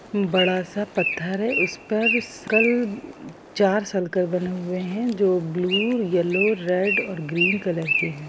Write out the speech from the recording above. --बरा-सा पत्थर है उस पर चार सर्किल बना हुए हैजो ब्लू येलो रेड और ग्रेन कलर के हैं।